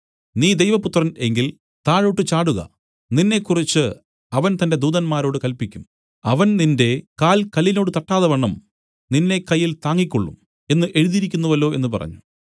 നീ ദൈവപുത്രൻ എങ്കിൽ താഴോട്ടു ചാടുക നിന്നെക്കുറിച്ച് അവൻ തന്റെ ദൂതന്മാരോട് കല്പിക്കും അവൻ നിന്റെ കാൽ കല്ലിനോട് തട്ടാതവണ്ണം നിന്നെ കയ്യിൽ താങ്ങിക്കൊള്ളും എന്നു എഴുതിയിരിക്കുന്നുവല്ലോ എന്നു പറഞ്ഞു